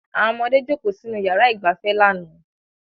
Awọn ọmọde joko sinu yàrá ìgbafẹ́ lana